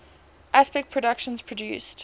aspect productions produced